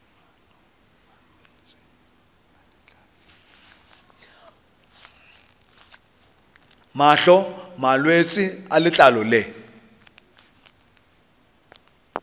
mahlo malwetse a letlalo le